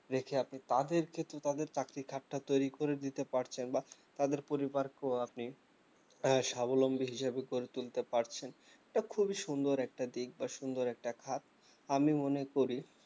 রেখে আপনি তাদেরকে কিন্তু তাদের চাকরির খাত টা তৈরী করে দিতে পারছেন বা তাদের পরিবাকেও আপনি সাবলম্বি হিসাবে গড়ে তুলতে পারছেন এটা খুবই সুন্দর একটা দিক বা সুন্দর একটা খাত আমি মনে করি